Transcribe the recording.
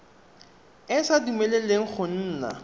e sa dumeleleng go nna